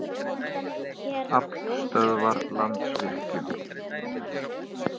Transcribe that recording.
Aflstöðvar- Landsvirkjun.